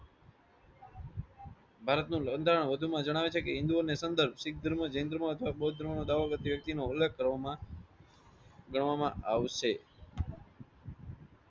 ભારત નું બંધારણ વધુ માં જાણવે છે કે હિંદીઓ ની સંધર્ભ શીખ ધર્મ જૈન ધર્મ અથવા બૌદ્ધ ધર્મ નો દાવો કરતી વ્યક્તિ નો ઉલ્લેખ કરવામાં ગણવામાં આવશે.